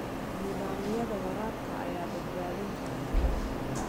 Nidaamyada waraabka ayaa badbaadin kara tamarta.